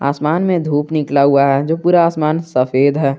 आसमान में धूप निकला हुआ है जो पूरा आसमान सफेद है।